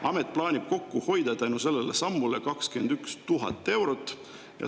Amet plaanib tänu sellele sammule kokku hoida 21 000 eurot.